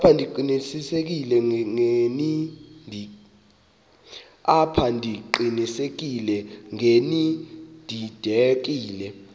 apha ndiqinisekile ngenididekile